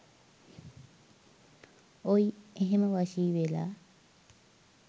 ඔය් එහෙම වශී වෙලා